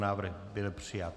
Návrh byl přijat.